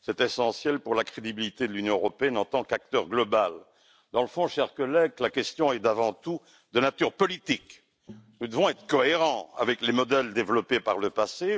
C'est essentiel pour la crédibilité de l'Union européenne en tant qu'acteur global. Dans le fond, chers collègues, la question est avant tout de nature politique. Nous devons être cohérents avec les modèles développés par le passé.